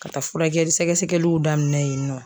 Ka taa furakɛli sɛgɛsɛgɛliw daminɛ yennɔ.